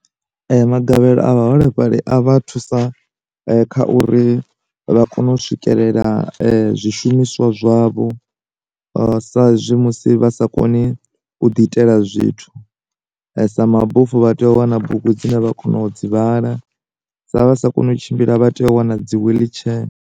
Ma gavhelo a vha holefhali a vha thusa kha uri vha kone u swikelela zwi shumiswa zwavho sa zwi musi vha sa koni u ḓi itela zwithu sa ma bofu vha tea u wana bugu dzine vha kona u dzi dzivhala, sa vha sa koni u tshimbila vha tea u wana dzi wheelchair.